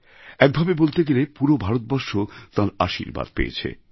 একভাবে বলতে গেলে পুরো ভারতবর্ষ তাঁর আশীর্বাদ পেয়েছে